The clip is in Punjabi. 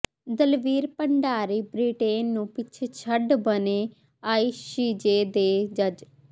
ਦਲਵੀਰ ਭੰਡਾਰੀ ਬ੍ਰਿਟੇਨ ਨੂੰ ਪਿੱਛੇ ਛੱਡ ਬਣੇ ਆਈਸੀਜੇ ਦੇ ਜੱਜ